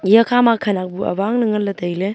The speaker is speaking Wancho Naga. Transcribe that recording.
eya khama khanak bu awang ley ngan ley tai ley.